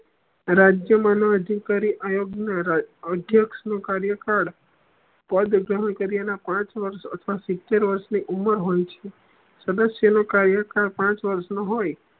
રાજ્યનામું અધિકારી આયોગ ના અધ્યક્ષ નું કાર્યકાળ તોએ બધુ ઘણું નું કરીએ એના પાંચ વર્ષ અથવા સિત્તેર વર્ષ ની ઉમર હોય છે સદસ્ય નું કાર્યકાળ પાંચ વર્ષ નું હોય